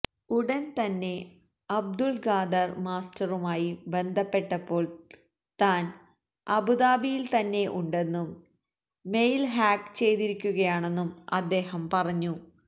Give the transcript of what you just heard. ഉടന് തന്നെ അബ്ദുല് ഖാദര് മാസ്റ്ററുമായി ബന്ധപ്പെട്ടപ്പോള് താന് അബുദാബിയില് തന്നെ ഉണ്ടെന്നും മെയില് ഹാക്ക് ചെയ്തിരിക്കുകയാണെന്നും അദ്ദേഹം പറഞ്ഞു